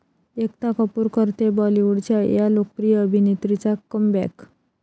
एकता कपूर करतेय बाॅलिवूडच्या 'या' लोकप्रिय अभिनेत्रीचा कमबॅक